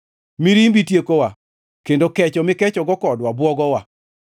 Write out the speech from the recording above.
Mirimbi tiekowa kendo kecho mikechogo kodwa bwogowa.